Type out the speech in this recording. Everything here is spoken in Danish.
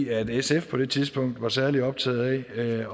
at sf på det tidspunkt ikke var særlig optaget af